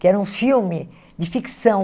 que era um filme de ficção.